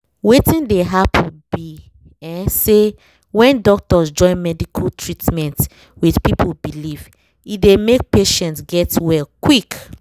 wetin dey happen be um say when doctors join medical tretment with people belief e dey make patients get well quick